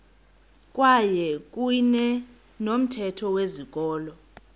kwakuyne nomthetho wezikolo